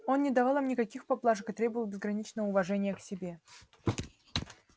он не давал им никаких поблажек и требовал безграничного уважения к себе